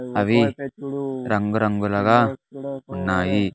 అవి రంగు రంగులుగా ఉన్నాయి.